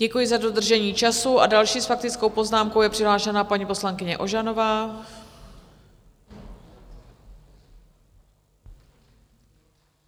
Děkuji za dodržení času a další s faktickou poznámkou je přihlášena paní poslankyně Ožanová.